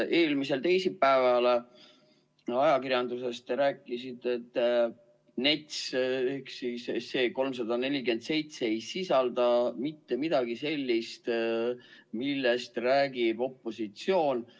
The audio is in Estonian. Eelmisel teisipäeval te ajakirjanduses rääkisite, et NETS, see 347 SE ei sisalda mitte midagi sellist, millest räägib opositsioon.